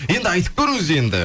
енді айтып көріңіз енді